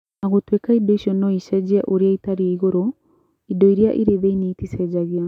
O na gũtuĩka indo icio no icenjie ũrĩa itariĩ igũrũ , indo iria irĩ thiiniĩ iticenjagia.